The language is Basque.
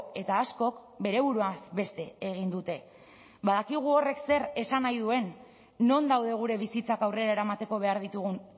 eta askok bere buruaz beste egin dute badakigu horrek zer esan nahi duen non daude gure bizitzak aurrera eramateko behar ditugun